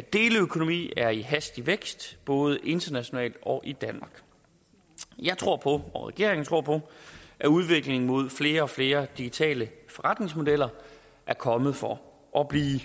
deleøkonomi er i hastig vækst både internationalt og i danmark jeg tror på og regeringen tror på at udviklingen mod flere og flere digitale forretningsmodeller er kommet for at blive